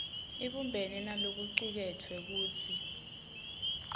ibumbene nalokucuketfwe futsi